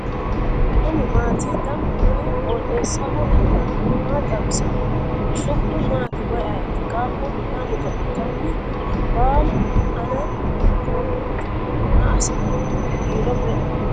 kuni maati ? danu kuni qooxeessaho leellannohu maa xawisanno su'mu maati woy ayeti ? qaaqullu maa godo'litanni no ? baalu ana hiitooreeti maa assitanni no kiiro me'eho ?